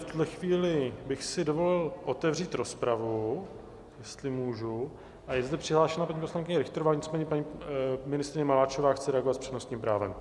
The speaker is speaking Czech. V tuto chvíli bych si dovolil otevřít rozpravu, jestli můžu, a je zde přihlášena paní poslankyně Richterová, nicméně paní ministryně Maláčová chce reagovat s přednostním právem.